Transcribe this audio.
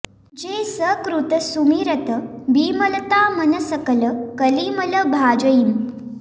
जे सकृत सुमिरत बिमलता मन सकल कलि मल भाजहीं